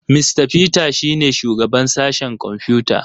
Mista Peter shi ne shugaban sashen kwamfuta.